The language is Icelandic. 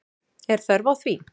Er þörf á því?